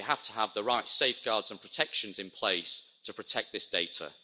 We have to have the right safeguards and protections in place to protect this data.